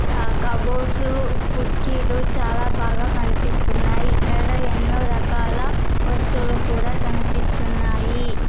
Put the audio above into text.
ఆ కబోర్డ్స్ కుర్చీలు చాలా బాగా కనిపిస్తున్నాయి ఇక్కడ ఎన్నో రకాల వస్తువులు కూడా కనిపిస్తున్నాయి.